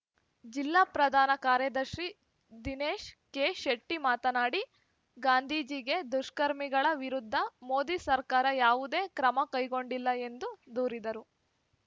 ಜಿಲ್ಲಾ ಪ್ರಧಾನ ಕಾರ್ಯದರ್ಶಿ ದಿನೇಶ ಕೆಶೆಟ್ಟಿಮಾತನಾಡಿ ಗಾಂಧೀಜಿಗೆ ದುಷ್ಕರ್ಮಿಗಳ ವಿರುದ್ಧ ಮೋದಿ ಸರ್ಕಾರ ಯಾವುದೇ ಕ್ರಮ ಕೈಗೊಂಡಿಲ್ಲ ಎಂದು ದೂರಿದರು